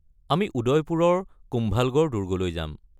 আমি উদয়পুৰৰ কুম্ভালগড় দুৰ্গলৈ যাম।